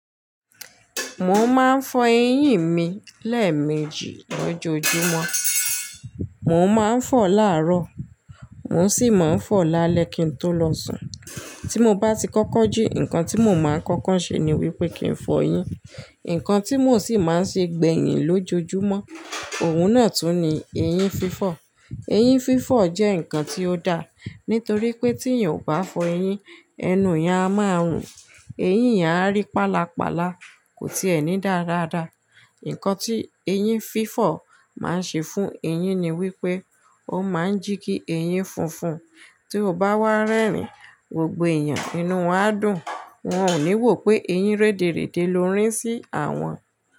Mo máa ń fọ eyín mi lẹ́ẹ̀mejì lójoojúmọ́, mo máa ń fọ̀ láàárọ̀, mò ń sì máa ń fọ̀ lálẹ́ kí n tó lọ sùn. Tí mo bá ti kọ́kọ́ jí, nǹkan tí mo máa ń kọ́kọ́ ṣe ni wípé kí ń fọ eyín. Ǹǹkan tí mò ń sì máa ń ṣe gbẹ̀yìn lójoojúmọ́, òun náà tún ni eyín fífọ̀. Eyín fífọ̀ jẹ́ ǹkan tí ó da, nítorí pé tí èèyàn o bá fọ eyín, ẹnu ìyá máa ń rùn eyín yẹn a rí paálapàla, kò tiẹ̀ ní daa dàádáa. Ǹkan tí eyín fífọ̀ máa ń ṣe fún eyín ni wípé, ó máa ń jí kí eyín funfun, tí ó bá wá rẹ́rìn-ín, gbogbo èèyàn inú wàá dùn, wọ́n ò ní wò pé eyín rèdèrède ló ń rí sí àwọn.